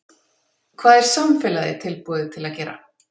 Hvað er samfélagið tilbúið til að gera?